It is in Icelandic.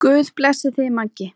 Guð blessi þig, Maggi.